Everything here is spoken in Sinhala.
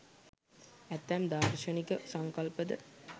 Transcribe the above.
ඇතැම් දාර්ශනික සංකල්ප ද